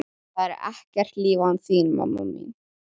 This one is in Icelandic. Það er ekkert líf án þín, mamma mín.